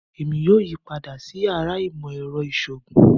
Èmi yóò yí padà sí yàrá ìmọ̀ ẹrọ ìṣòògùn